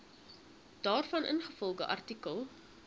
daarvan ingevolge artikel